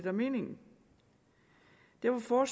er meningen derfor